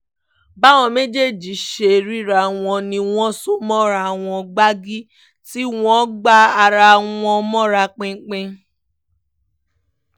báwọn méjèèjì ṣe ríra wọn ni wọ́n so mọ́ ara wọn gbàgì tí wọ́n gbá ara wọn mọ́ra pinpin